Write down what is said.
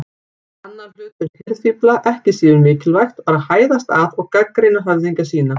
Annað hlutverk hirðfífla, ekki síður mikilvægt, var að hæðast að og gagnrýna höfðingja sína.